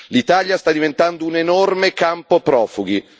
L'Italia sta diventando un enorme campo profughi.